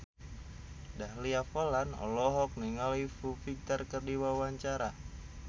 Dahlia Poland olohok ningali Foo Fighter keur diwawancara